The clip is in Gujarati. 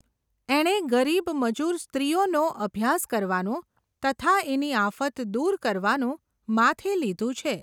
એણે ગરીબ મજૂર સ્ત્રીઓનો અભ્યાસ કરવાનું, તથા એની આફત દૂર કરવાનું માથે લીઘું છે.